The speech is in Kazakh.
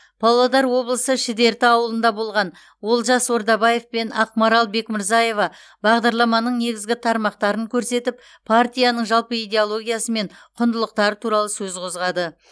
павлодар облысы шідерті ауылында болған олжас ордабаев пен ақмарал бекмырзаева бағдарламаның негізгі тармақтарын көрсетіп партияның жалпы идеологиясы мен құндылықтары туралы сөз қозғады